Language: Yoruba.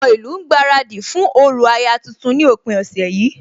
Àwọn ìlú ń gbaradì fún orò aya tuntun ní òpin ọ̀sẹ̀ yìí